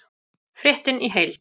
Fréttin í heild